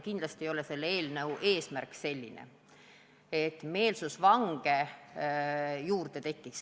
Kindlasti ei ole selle eelnõu eesmärk see, et meelsusvange juurde tekiks.